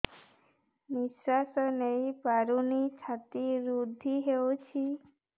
ନିଶ୍ୱାସ ନେଇପାରୁନି ଛାତି ରୁନ୍ଧି ଦଉଛି